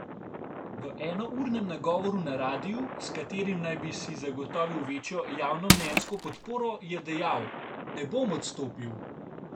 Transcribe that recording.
V enournem nagovoru na radiu, s katerim naj bi si zagotovil večjo javnomnenjsko podporo, je dejal: 'Ne bom odstopil.